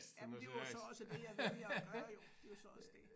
Jamen det er jo så også det jeg vælger at gøre jo det er jo så også det